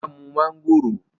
Ọlá mú mángòrò